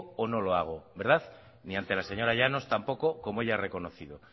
o no lo hago verdad ni ante la señora llanos tampoco como ella ha reconocido